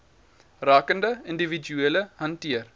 rakende individue hanteer